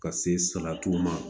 Ka se salati ma